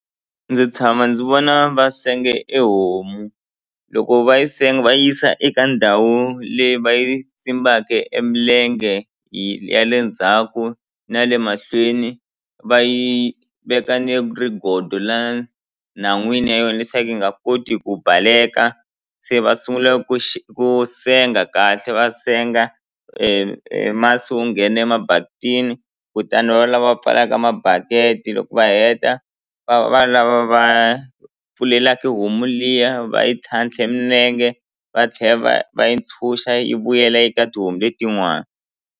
Ndzi tshama ndzi vona va senge ehomu loko va yi senga va yisa eka ndhawu leyi va yi emilenge ya le ndzhaku na le mahlweni va yi veka ni rigodo la nhan'wini ya yona leswaku yi nga koti ku baleka se va sungula ku ku senga kahle va senga emasi wu nghene emabakitini kutani va va lava pfalaka mabaketi loko va heta va va lava va pfulelaku homu liya va yi tlhantlhe minenge va tlhela va va yi ntshuxa yi vuyela eka tihomu letin'wana.